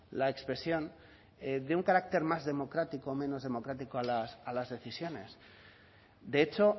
la expresión dé un carácter más democrático o menos democrático a las decisiones de hecho